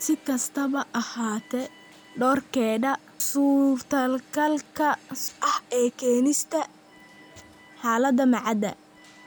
Si kastaba ha ahaatee, doorkeeda suurtagalka ah ee keenista xaaladda ma cadda.